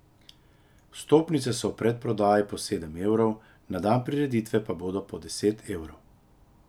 Vstopnice so v predprodaji po sedem evrov, na dan prireditve pa bodo po deset evrov.